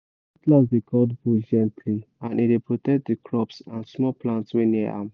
cutlass dey cut bush gently and e dey protect the crops and small plants wey near am